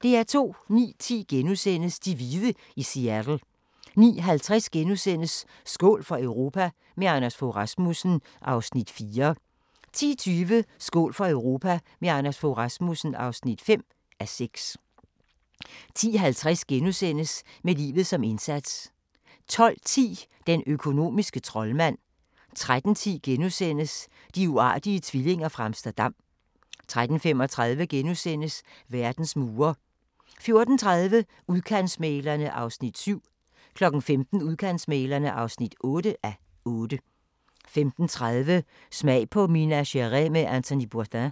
09:10: De hvide i Seattle * 09:50: Skål for Europa – med Anders Fogh Rasmussen (4:6)* 10:20: Skål for Europa – med Anders Fogh Rasmussen (5:6) 10:50: Med livet som indsats * 12:10: Den økonomiske troldmand 13:10: De uartige tvillinger fra Amsterdam * 13:35: Verdens mure * 14:30: Udkantsmæglerne (7:8) 15:00: Udkantsmæglerne (8:8) 15:30: Smag på Minas Gerais med Anthony Bourdain